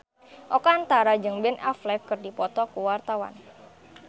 Oka Antara jeung Ben Affleck keur dipoto ku wartawan